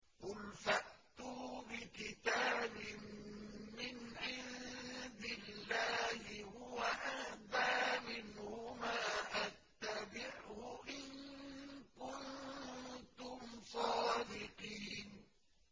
قُلْ فَأْتُوا بِكِتَابٍ مِّنْ عِندِ اللَّهِ هُوَ أَهْدَىٰ مِنْهُمَا أَتَّبِعْهُ إِن كُنتُمْ صَادِقِينَ